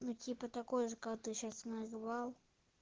ну типа такой же как ты сейчас называл